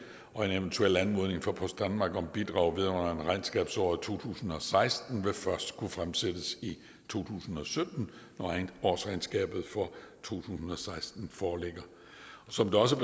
og en eventuel anmodning fra post danmark om bidrag vedrørende regnskabsåret to tusind og seksten vil først kunne fremsættes i to tusind og sytten når årsregnskabet for to tusind og seksten foreligger som det også